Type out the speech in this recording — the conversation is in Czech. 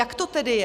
Jak to tedy je?